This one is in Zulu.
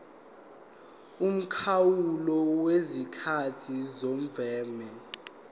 umkhawulo wesikhathi semvume